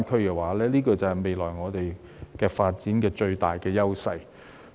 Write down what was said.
這便是香港未來發展的最大優勢。